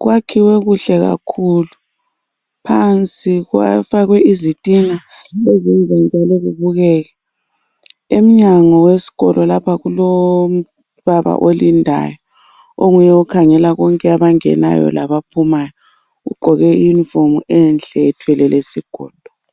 Kwakhiwe kuhle kakhulu. Phansi kufakwe izitina ezenza njalo kubukeke. Emnyango wesikolo lapha kulobaba olindayo onguye okhangela konke abangenayo laba phumayo. Ugqoke iyunifomu enhle ethwele lesigodo.